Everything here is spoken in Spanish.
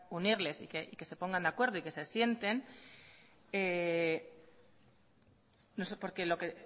unirles y que se pongan de acuerdo y que se sienten no sé por qué